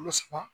Kalo saba